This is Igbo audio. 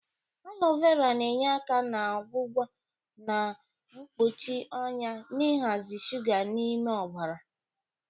Alo vera na-enye aka na-ọgwọgwọ na mkpọchi ọnya na ịhazị shụga dị n'ime ọbara.